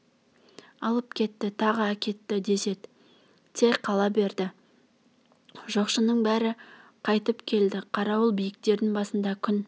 алып кетті тағы әкетті десед те қала береді жоқшының бәрі қайтып келді қарауыл биіктердің басында күн